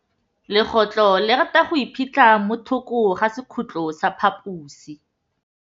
Legôtlô le rata go iphitlha mo thokô ga sekhutlo sa phaposi.